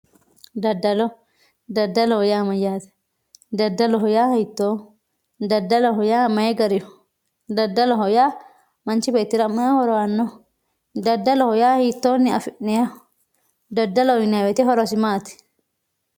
daddalo, daddaloho yaa mayyaate daddaloho yaa hiittooho daddaloho yaa may gariho daddaloho yaa manchi beettira may horo aannoho daddaloho yaa hiittoonni afi'nayiiho daddaloho yinanni woyiite horosi maati.